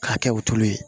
K'a kɛ wotoro ye